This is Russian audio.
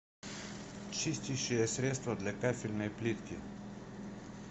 чистящее средство для кафельной плитки